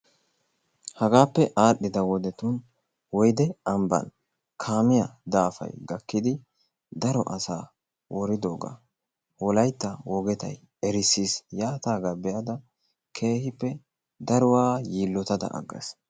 Hagaappe adhdhida wodetun woyde ambbaan kaamiya daafay gakkidi daro asaa woriddogaa wolaytta wogetay erissis. Yaataagaa be'ada keehippe daruwa yilootaada agaas.